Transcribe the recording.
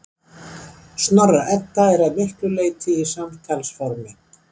Snorra-Edda er að miklu leyti á samtalsformi.